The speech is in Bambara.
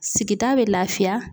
Sigida bɛ lafiya